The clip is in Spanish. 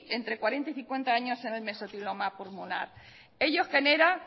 entre cuarenta y cincuenta años en el mesotelioma pulmonar ello genera